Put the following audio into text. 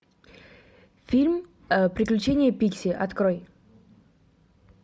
фильм приключения пикси открой